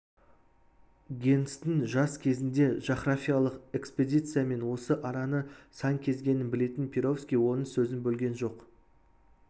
генстің жас кезінде жағрафиялық экспедициямен осы араны сан кезгенін білетін перовский оның сөзін бөлген жоқ